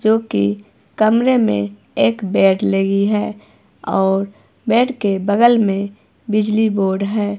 जोकि कमरे में एक बेड लगी है और बेड के बगल में बिजली बोर्ड है।